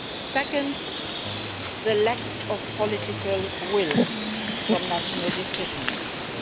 Second, the lack of political will from national decision makers.